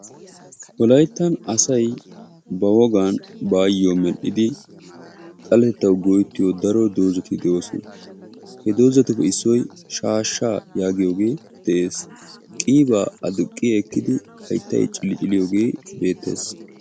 Wolayttan asay ba wogan baayyo medhdhidi xaletettaw go'etiyo daro dozati de'oosona, he dozatuppe issoy shaashsha yaagiyoog de'ees; qiiba adduqi ekkidi hayttay cili-cilliyooge beettees